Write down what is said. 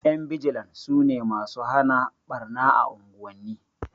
Ƴan bijilan sune masu hana ɓarna a unguwanni